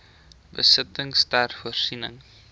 besittings ter voorsiening